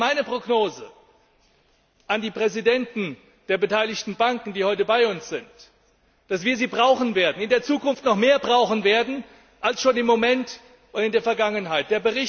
Deswegen ist meine Prognose für die Präsidenten der beteiligten Banken, die heute bei uns sind, dass wir sie in Zukunft noch mehr brauchen werden als im Moment und in der Vergangenheit.